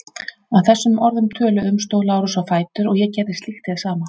Að þessum orðum töluðum stóð Lárus á fætur og ég gerði slíkt hið sama.